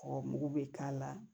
Ɔ mugu bɛ k'a la